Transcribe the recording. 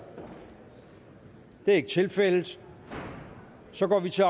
det er ikke tilfældet og så går vi til